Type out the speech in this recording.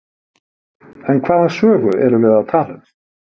En hvaða sögu erum við að tala um?